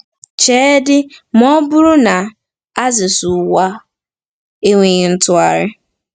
Cheedị ma ọ bụrụ na axis ụwa enweghị ntụgharị!